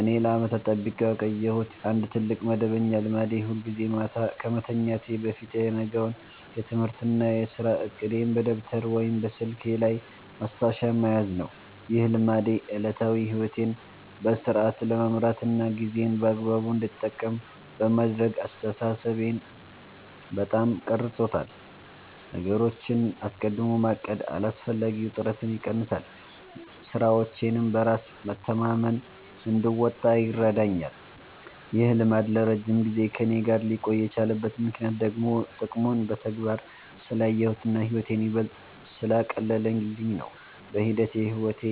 እኔ ለዓመታት ጠብቄው የቆየሁት አንድ ትልቅ መደበኛ ልማዴ ሁልጊዜ ማታ ከመተኛቴ በፊት የነገውን የትምህርትና የሥራ ዕቅዴን በደብተር ወይም በስልኬ ላይ ማስታወሻ መያዝ ነው። ይህ ልማዴ ዕለታዊ ሕይወቴን በሥርዓት ለመምራትና ጊዜዬን በአግባቡ እንድጠቀም በማድረግ አስተሳሰቤን በጣም ቀርጾታል። ነገሮችን አስቀድሞ ማቀድ አላስፈላጊ ውጥረትን ይቀንሳል፤ ሥራዎቼንም በራስ መተማመን እንድወጣ ይረዳኛል። ይህ ልማድ ለረጅም ጊዜ ከእኔ ጋር ሊቆይ የቻለበት ምክንያት ደግሞ ጥቅሙን በተግባር ስላየሁትና ሕይወቴን ይበልጥ ስላቀለለልኝ ነው። በሂደት የሕይወቴ